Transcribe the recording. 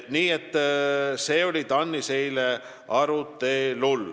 Ka see oli eile TAN-is arutelul.